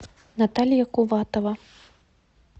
наталья куватова